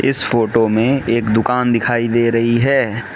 इस फोटो मे एक दुकान दिखाई दे रही है।